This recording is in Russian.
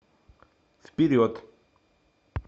вперед